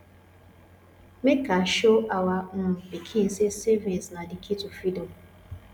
make I show our um pikin say savings na the key to freedom